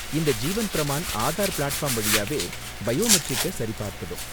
இந்த ஜீவன் பிரமான் ஆதார் பிளாட்ஃபார்ம் வழியாவே பயோமெட்ரிக்க சரி பார்த்துடும்.